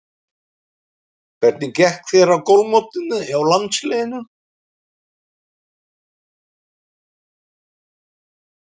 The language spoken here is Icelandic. Hvernig gekk þér í golfmótinu hjá landsliðinu?